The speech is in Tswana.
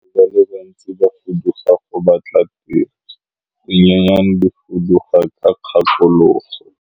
Batho ba bantsi ba fuduga go batla tiro, dinonyane di fuduga ka dikgakologo.